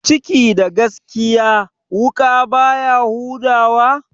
Ciki da gaskiya, wuƙa baya huda wa?